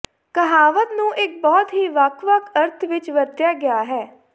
ਕਹਾਵਤ ਨੂੰ ਇੱਕ ਬਹੁਤ ਹੀ ਵੱਖ ਵੱਖ ਅਰਥ ਵਿਚ ਵਰਤਿਆ ਗਿਆ ਹੈ